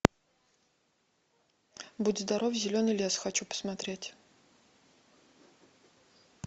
будь здоров зеленый лес хочу посмотреть